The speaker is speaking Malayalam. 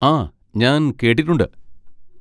ആ, ഞാൻ കേട്ടിട്ടുണ്ട്.